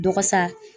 Dɔgɔ sa